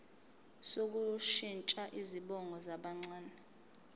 sokushintsha izibongo zabancane